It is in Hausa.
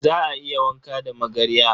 Za a iya wanka da magarya.